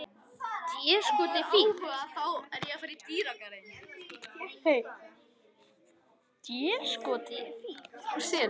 Déskoti fínt.